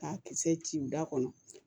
K'a kisɛ ci ci u da kɔnɔ